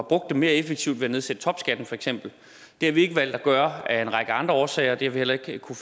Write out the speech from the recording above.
brugt dem mere effektivt ved at nedsætte topskatten for eksempel det har vi ikke valgt at gøre og det er af en række andre årsager vi har heller ikke kunnet